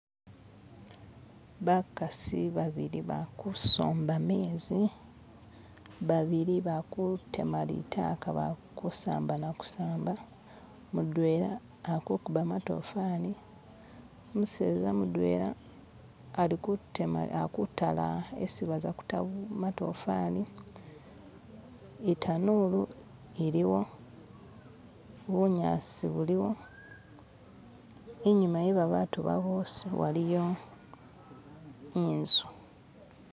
Bakasi babili bali kusomba gamenzi, babili balikutema litaaka balikusamba nakusamba, mudwera alikukubba gamatofaari umuseeza mudweera alikutaala isi bazakuta gamatofaari, itanuuru iliiwo, bunyaasi buliwo, inyuuma we babantu bano boosi waliyo inzi